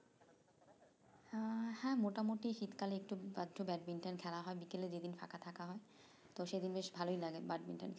হুম হ্যাঁ মোটামুটি শীতকালে একটু আধটু badminton খেলা হয় বিকালে যেদিন ফাঁকা থাকা হয় তো সেদিন বেশ ভালোই লাগে badminton খেলতে